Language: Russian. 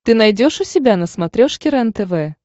ты найдешь у себя на смотрешке рентв